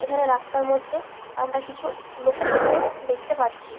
এইখানে রাস্তার মধ্যে আমরা কিছু লোকজনকেও দেখতে পারছি।